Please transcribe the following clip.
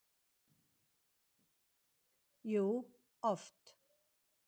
Jú, oft.